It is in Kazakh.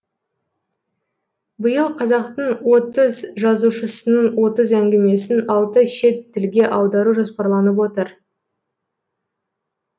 биыл қазақтың отыз жазушысының отыз әңгімесін алты шет тілге аудару жоспарланып отыр